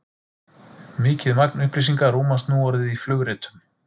Mikið magn upplýsinga rúmast nú orðið í flugritum.